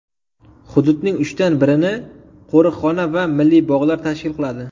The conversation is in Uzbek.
Hududning uchdan birini qo‘riqxona va milliy bog‘lar tashkil qiladi.